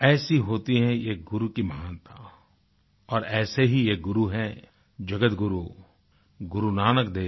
ऐसी होती है ये गुरु की महानता और ऐसे ही एक गुरु हैं जगतगुरु गुरु नानक देव